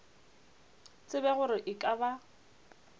tsebe gore e ka ba